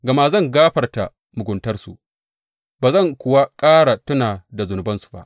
Gama zan gafarta muguntarsu ba zan kuwa ƙara tuna da zunubansu ba.